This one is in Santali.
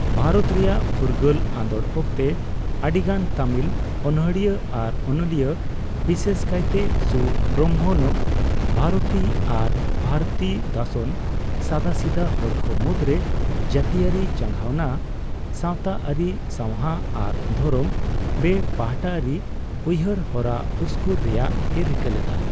ᱵᱷᱟᱨᱚᱛ ᱨᱮᱭᱟᱜ ᱯᱷᱩᱨᱜᱟᱹᱞ ᱟᱸᱫᱳᱲ ᱚᱠᱛᱮ, ᱟᱹᱰᱤ ᱜᱟᱱ ᱛᱟᱹᱢᱤᱞ ᱚᱱᱚᱬᱦᱤᱭᱟᱹ ᱟᱨ ᱚᱱᱚᱞᱤᱭᱟᱹ, ᱵᱤᱥᱮᱥ ᱠᱟᱭᱛᱮ ᱥᱩᱵᱨᱚᱢᱵᱷᱚᱱᱚ ᱵᱷᱟᱨᱚᱛᱤ ᱟᱨ ᱵᱷᱟᱨᱚᱛᱤ ᱫᱟᱥᱚᱱ, ᱥᱟᱫᱟᱥᱤᱫᱟᱹ ᱦᱚᱲᱠᱚ ᱢᱩᱫᱽᱨᱮ ᱡᱟᱹᱛᱤᱭᱟᱹᱨᱤ ᱪᱟᱸᱜᱷᱟᱣᱱᱟ, ᱥᱟᱣᱛᱟᱨᱤ ᱥᱟᱣᱦᱟ ᱟᱨ ᱫᱷᱚᱨᱚᱢ ᱵᱮᱹᱯᱟᱦᱴᱟᱨᱤ ᱩᱭᱦᱟᱹᱨ ᱦᱚᱨᱟ ᱩᱥᱠᱩᱨ ᱨᱮᱭᱟᱜᱼᱮ ᱨᱤᱠᱟᱹ ᱞᱮᱫᱟ ᱾